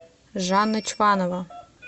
жанна чванова